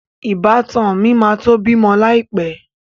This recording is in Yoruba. Ìbátan mi máa tó bímọ láì pẹ́